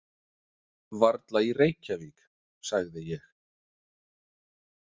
Varla í Reykjavík, sagði ég.